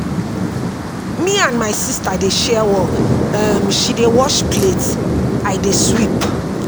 Me and my sister dey share work, um she dey wash plate, I dey sweep.